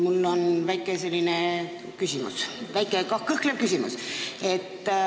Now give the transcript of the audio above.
Mul on selline väike kõhklev küsimus.